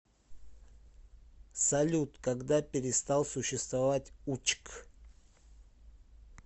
салют когда перестал существовать учк